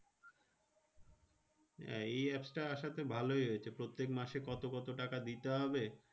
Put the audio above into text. হ্যাঁ এই apps টা আসাতে ভালোই হয়েছে। প্রত্যেক মাসে কত কত টাকা দিতে হবে?